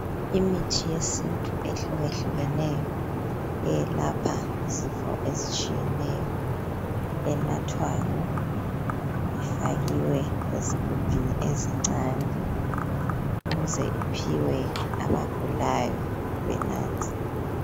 Imithi yesintu ehluka hlukeneyo eyelapha izifo ezitshiyeneyo enathwayo, ifakiwe esigubhini ezincane ukuze iphiwe abagulayo benathe.